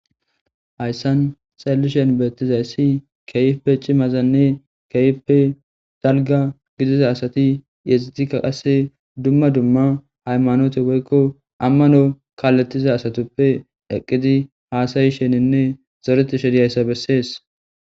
Hayssan xallishen beettizayssi keyipe cimazanne keeype dalga gidiza asati yexitikka qasse dumma dumma haymanote woykko ammano kaaletiza asatuppe eqqidi haasayi sheninne zoreti shediyayssa bessees